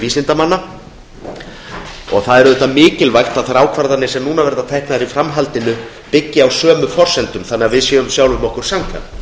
vísindamanna það er auðvitað mikilvægt að þær ákvarðanir sem teknar verða í framhaldinu byggi á sömu forsendum þannig að við séum sjálfum okkur samkvæm